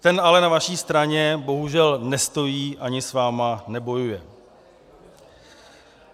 Ten ale na vaší straně bohužel nestojí, ani s vámi nebojuje.